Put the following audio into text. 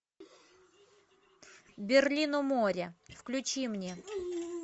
берлин у моря включи мне